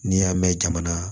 N'i y'a mɛn jamana